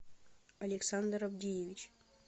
александр авдеевич